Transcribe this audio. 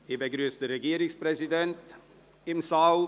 Ich begrüsse den Regierungspräsidenten im Saal.